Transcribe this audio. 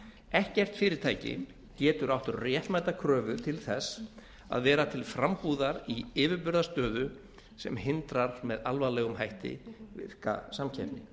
ekkert fyrirtæki getur átt réttmæta kröfu til þess að vera til frambúðar í yfirburðastöðu sem hindrar með alvarlegum hætti virka samkeppni